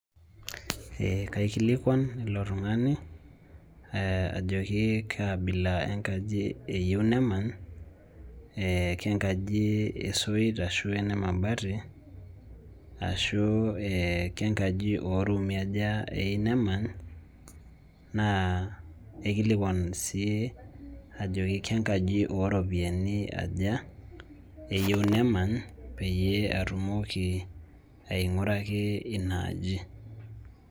Ee kakilikuan ilo tung'ani ajoki kaa abila enkaji eyieu nemany ee kenkaji esoit ashu kene mabati ashu ee kenkaji ooruumi aja eyieu nemany naa kaikilikuan sii ajoki kenkaji ooropiyiani aja eyieu nemany pee atumoki aing'uraki ina aji.